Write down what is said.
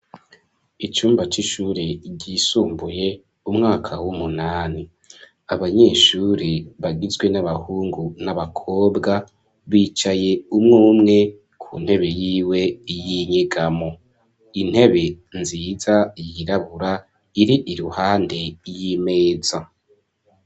Icumba c'ishure ryisumbuye ,umwaka w'umunani, abanyeshure bagizwe n'abahungu n'abakobwa bicaye umwumwe ku ntebe yiwe y'inyegamo, intebe nziza yirabura iri iruhande y'imeza.